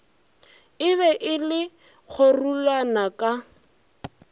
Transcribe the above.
be e le kgorulana ka